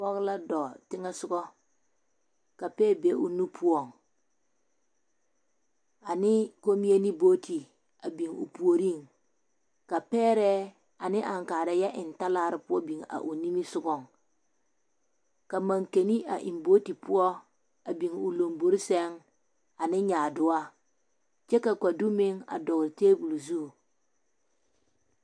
Pɔge la dɔɔ teŋɛ soga ka pɛɛ be o nu poɔŋ ane kommie ne bogti a biŋ o puoriŋ ka pɛɛrɛɛ ane aŋkaarɛɛ yɛ eŋ talaare poɔ biŋ a o nimisogaŋ ka mankene a eŋ bogti poɔ a biŋ o lombore sɛŋ ane nyaadoɔ kyɛ ka kodu meŋ dogle table zu.